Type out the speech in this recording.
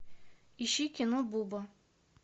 ищи кино буба